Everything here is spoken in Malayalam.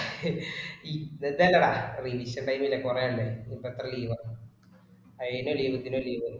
വെറുതെയല്ലേടാ പരീക്ഷ കഴിഞ്ഞില്ലേ കുറെ ആയില്ലേ. ഇനി ഇപ്പൊ എത്ര leave ആ. അയിന്റെ ഇടേല് ഇപ്പൊ എന്തിനാ leave.